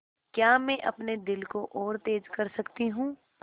क्या मैं अपने दिल को और तेज़ कर सकती हूँ